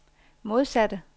modsatte